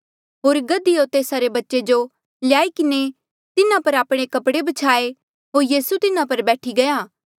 होर गधी होर तेस्सा रे बच्चे जो ल्याई किन्हें तिन्हा पर आपणे कपड़े ब्छ्याये होर यीसू तिन्हा पर बैठी गया